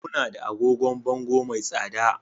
Muna da agogon bango mai tsada